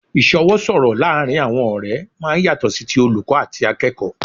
Ìsọwọ́ sọ̀rọ̀ laarin awọn ọ̀rẹ́ máa ń yàtọ̀ sí ti olùkọ́ àti akẹ́kọ̀ọ́